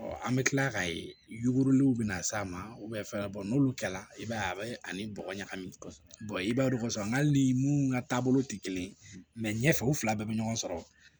an bɛ kila k'a ye yuguriw bɛ na s'a ma n'olu kɛla i b'a ye a bɛ ani bɔgɔ ɲagamin kosɛbɛ i b'a don koson nka hali ni mun ka taabolo tɛ kelen ye ɲɛfɛ u fila bɛɛ bɛ ɲɔgɔn sɔrɔ